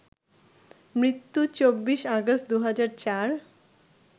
মৃত্যু: ২৪ আগস্ট, ২০০৪